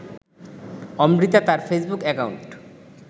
অমৃতা তার Facebook account